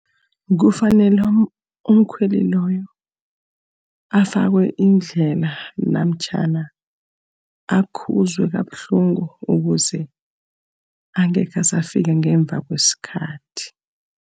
Kufanele umkhweli loyo afakwe indlela, namtjhana akhuzwe kabuhlungu ukuze angekhe asafika ngemva kwesikhathi.